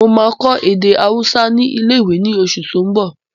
Mo máa kọ́ èdè ahúsá ní ilé-ìwé ní oṣù tó n bọ̀